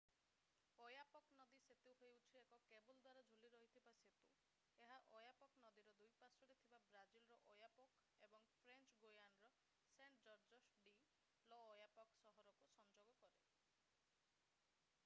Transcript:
Oyapock ନଦୀ ସେତୁ ହେଉଛି ଏକ କେବୁଲ୍-ଦ୍ୱାରା-ଝୁଲି ରହିଥିବା ସେତୁ ଏହା ଓୟାପକ୍ ନଦୀର ଦୁଇ ପାର୍ଶ୍ୱରେ ଥିବା ବ୍ରାଜିଲର ଓୟାପୋକ୍ ଏବଂ ଫ୍ରେଞ୍ଚ ଗୁୟାନାର ସେଣ୍ଟ-ଜର୍ଜସ୍ ଡି ଲ'ଓୟାପକ୍ ସହରକୁ ସଂଯୋଗ କରେ